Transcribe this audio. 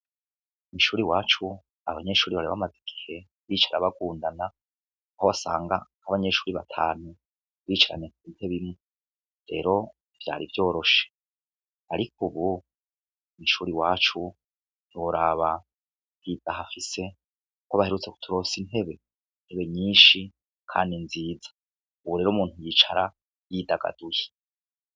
Kw’ishure iwacu abanyeshure bari bamaze igihe bicara bagundana; aho wasanga nk’abanyeshure batanu bicaranye ku ntebe imwe. Rero, ntivyari vyoroshe. Ariko ubu mw’ishure iwacu, ntiworaba ihimba hafise ; baherutse kuturonsa intebe intebe nyinshi Kandi nziza. Ubu rero, umuntu yicara yidagaduye.